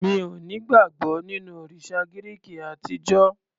Mi ò ní ìgbàgbọ́ nínú òrìsà Gíríki àtijó.